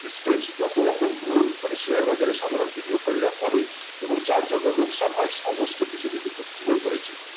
stress যতরকম ভুল মানে share বাজারের সাধারণ d d o কারীরা করে এবং যার জন্য লোকসান হয় সমস্ত কিছুকে কিন্তু তুলে ধরেছি